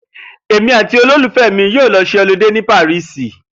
Èmí àti olólùfé̩ mi yóò lo s̩e olidé ní ilu Pàríìsì